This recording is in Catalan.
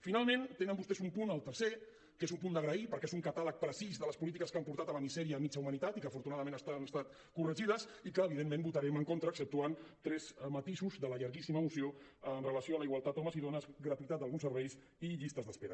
finalment tenen vostès un punt el tercer que és un punt d’agrair perquè és un catàleg precís de les polítiques que han portat a la misèria mitja humanitat i que afortunadament han estat corregides i que evidentment hi votarem en contra exceptuant tres matisos de la llarguíssima moció amb relació a la igualtat homes i dones gratuïtat d’alguns serveis i llistes d’espera